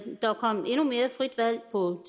der kom endnu mere frit valg på